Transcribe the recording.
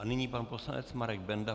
A nyní pan poslanec Marek Benda.